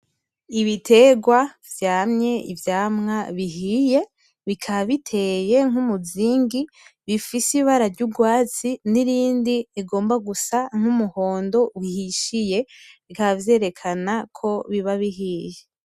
Ibiterwa vyamye ivyamwa bihiye, bikaba biteye nk’ umuzingi bifise ibara ry’urwatsi n’irindi rigomba gusa nk’umuhondo uhishiye, bikaba vyerekana ko biba bihiye.